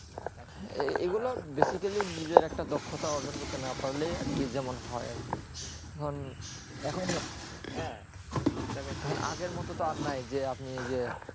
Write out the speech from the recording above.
এই গুলু basically নিজের একটা দক্ষতা অর্জন করতে না পারলে আর কি যেমন হয়ে আর কি এখনো হ্যাঁ সব জায়গা তো আগে মতুন তো আর নেই যে আপনি যে